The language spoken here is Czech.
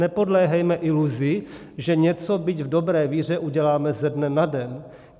Nepodléhejme iluzi, že něco, byť v dobré víře, uděláme ze dne na den.